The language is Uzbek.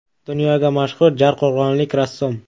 Dunyoga mashhur jarqo‘rg‘onlik rassom.